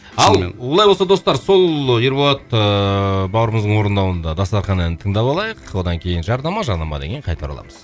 ал олай болса достар сол ыыы ерболат ыыы бауырымыздың орындауында дастархан әнін тыңдап алайық одан кейін жарнама жарнамадан кейін қайта ораламыз